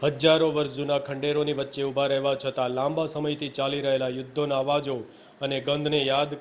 હજારો વર્ષ જૂના ખંડેરોની વચ્ચે ઊભા રહેવા છતાં લાંબા સમયથી ચાલી રહેલા યુદ્ધોના અવાજો અને ગંધને યાદ